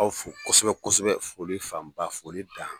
Aw fɔ kosɛbɛ kosɛbɛ foli fanba foli dan.